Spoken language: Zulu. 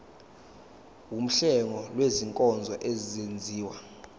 wuhlengo lwezinkonzo ezenziwa